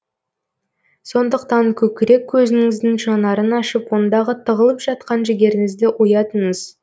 сондықтан көкірек көзіңіздің жанарын ашып ондағы тығылып жатқан жігеріңізді оятыңыз